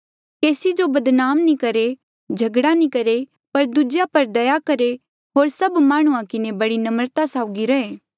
केसी जो बदनाम नी करहे झगड़ा नी करहे पर दूजेया पर दया करहे होर सभ माह्णुंआं किन्हें बड़ी नम्रता साउगी रहे